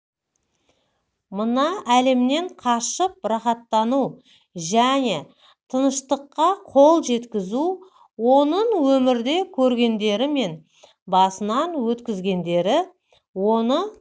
мына әлемнен қашып рахаттану және тыныштыққа қол жеткізу оның өмірде көргендері мен басынан өткізгендері оны